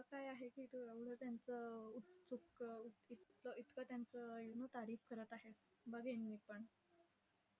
असं काय आहे की तू एवढं त्यांचं उत्सुक उत इतकं इतकं you know करत आहेस. बघेन मी पण.